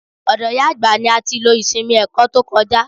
Ọ̀dọ̀ ìyá àgbà ní a ti lo ìsinmi ẹ̀kọ́ tó kọjá.